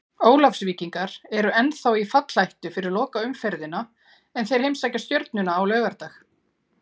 Ólafsvíkingar eru ennþá í fallhættu fyrir lokaumferðina en þeir heimsækja Stjörnuna á laugardag.